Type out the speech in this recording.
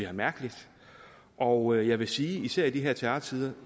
er mærkeligt og jeg vil sige især i de her terrortider